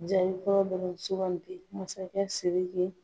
Jaabi fɔlɔ dɔrɔn sugandi: masakɛ Siriki